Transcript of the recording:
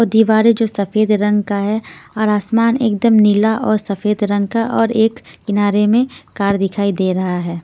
दीवारे जो सफेद रंग का है और आसमान एकदम नीला और सफेद रंग का और एक किनारे में कार दिखाई दे रहा है।